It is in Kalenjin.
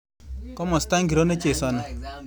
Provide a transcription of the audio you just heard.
Komosta ngiro nechesani